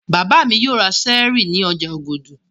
Bàbá mi yóò ra Sẹ́ẹ́rì ní ọjà Ògùdù.